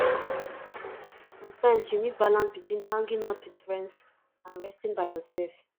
sometimes you need balance between hanging out with friends and resting by yourself